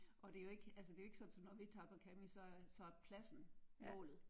Og det er jo ikke altså det er jo ikke sådan så når vi tager på camping så så er pladsen målet